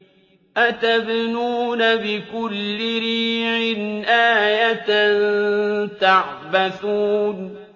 أَتَبْنُونَ بِكُلِّ رِيعٍ آيَةً تَعْبَثُونَ